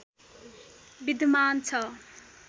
विद्यमान छ